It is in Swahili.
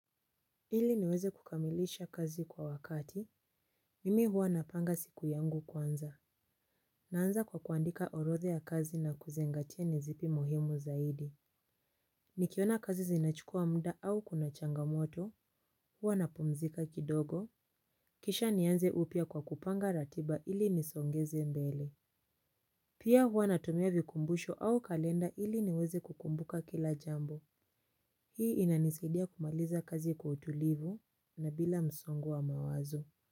Ili niweze kukamilisha kazi kwa wakati. Mimi huwa napanga siku yangu kwanza. Naanza kwa kuandika orodha ya kazi na kuzingatia ni zipi muhimu zaidi. Nikiona kazi zinachukua muda au kuna changamoto. Huwa napumzika kidogo. Kisha nianze upya kwa kupanga ratiba ili nisongeze mbele. Pia huwa natumia vikumbusho au kalenda ili niweze kukumbuka kila jambo. Hii inanisaidia kumaliza kazi kwa utulivu na bila msongo wa mawazo.